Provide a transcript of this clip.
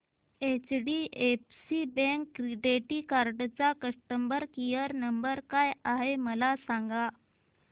HDFC bank credit card चा customer care number काय आहे मला सांगा